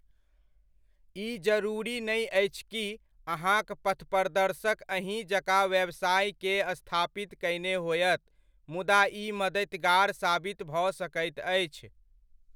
ई जरूरी नै अछि कि अहाँक पथप्रदर्शक अहिँक जकाँ व्यवसाय के स्थापना कयने होयत मुदा ई मदतिगार साबित भऽ सकैत अछि।